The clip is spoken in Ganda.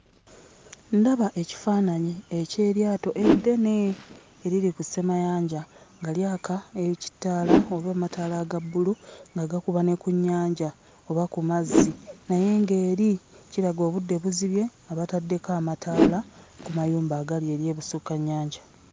Ndaba ekifaananyi eky'eryato eddene eriri ku ssemayanja nga lyaka ekitaala oba amataala aga bbulu nga gakuba ne ku nnyanja oba ku mazzi naye ng'eri kiraga obudde buzibye, nga bataddeko amataala ku mayumba agali eri ebusukka nnyanja.